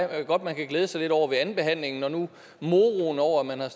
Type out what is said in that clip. godt man kan glæde sig lidt over ved andenbehandlingen når nu moroen over at man har